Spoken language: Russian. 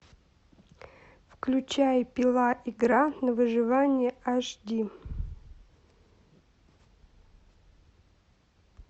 включай пила игра на выживание аш ди